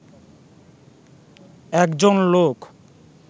একজন লোক